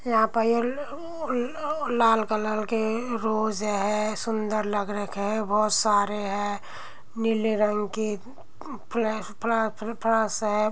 यहाँ पर लाल कलर के रोज़ हैं। सुंदर लग रहे रखे है। बोहोत सारे हैं। नीले रंग की है।